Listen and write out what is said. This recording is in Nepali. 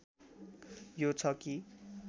यो छ कि